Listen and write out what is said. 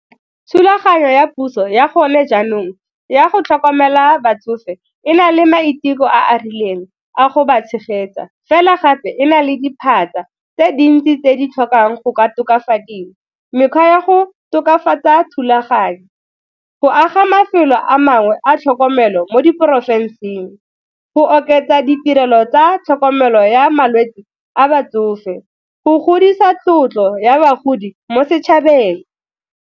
Thulaganyo ya puso ya gone jaanong ya go tlhokomela batsofe e na le maiteko a a rileng a go ba tshegetsa fela gape e na le diphatsa tse dintsi tse di tlhokang go ka tokafadiwa. Mekgwa ya go tokafatsa thulaganyo, go aga mafelo a mangwe a tlhokomelo mo diporofenseng, go oketsa ditirelo tsa tlhokomelo ya malwetse a batsofe, go godisa tlotlo ya bagodi mo setšhabeng.